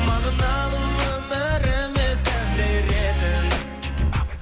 мағыналы өміріме сән беретін